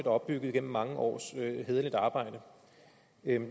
opbygget gennem mange års hæderligt arbejde